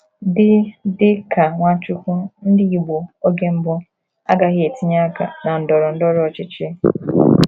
Dị Dị ka Nwachukwu, Ndị Igbo oge mbụ agaghị etinye aka na ndọrọ ndọrọ ọchịchị.